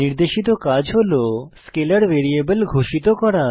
নির্দেশিত কাজ হল স্কেলার ভ্যারিয়েবল ঘোষণা করা